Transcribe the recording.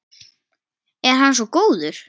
Er hann svo góður?